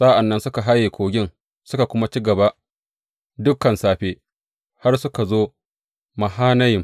Sa’an nan suka haye kogin, suka kuwa ci gaba dukan safe har suka zo Mahanayim.